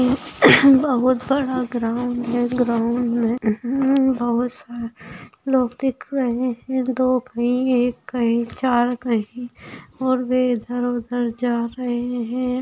बहुत बड़ा ग्राउन्ड है ग्राउन्ड मे बहुत सारे लोग दिख रहे है दो कहीं एक कहीं चार कहीं और वे इधर-उधर जा रहे है।